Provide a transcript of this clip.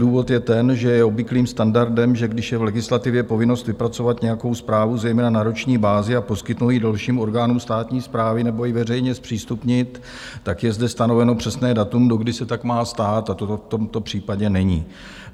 Důvod je ten, že je obvyklým standardem, že když je v legislativě povinnost vypracovat nějakou zprávu, zejména na roční bázi, a poskytnout ji dalším orgánům státní správy nebo ji veřejně zpřístupnit, tak je zde stanoveno přesné datum, dokdy se tak má stát, a to v tomto případě není.